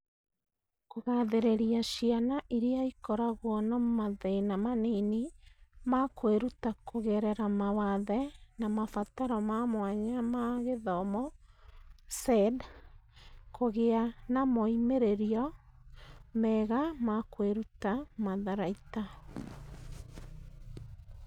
Kũgathĩrĩria ciana iria ikoragwo na mathĩna manini ma kwĩruta kũgerera mawathe na mabataro ma mwanya ma gĩthomo (SEND) kũgĩa na moimĩrĩro mega ma kwĩruta matharaita.